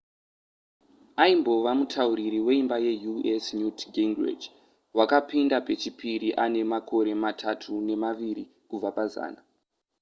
aimbova mutauriri weimba yeus newt gingrich wakapinda pechipiri ane makumi matatu nemaviri kubva pazana